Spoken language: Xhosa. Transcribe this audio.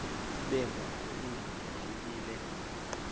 ubengwayo indoda yayibile